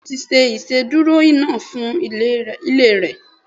Bẹ́ẹ̀ni, o ti ṣe ìsedúró iná fún ilé re